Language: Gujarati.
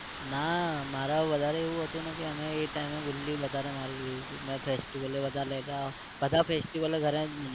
ના મારે વધારે એવું હતું ને કે મેં એ time એ ગુલ્લી વધારે મારી લીધી હતી મે festival એ બધા , બધા festival ઘરે